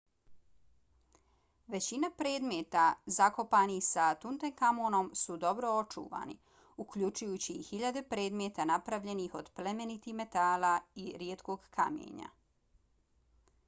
većina predmeta zakopanih sa tutankamonom su dobro očuvani uključujući i hiljade predmeta napravljenih od plemenitih metala i rijetkog kamenja